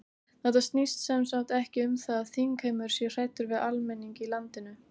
Þetta snýst sem sagt ekki um það að þingheimur sé hræddur við almenning í landinu?